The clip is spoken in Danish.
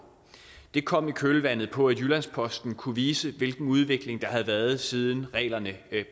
det kom i kølvandet på at jyllands posten kunne vise hvilken udvikling der havde været siden reglerne